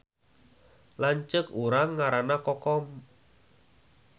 Lanceuk urang ngaranna Kokom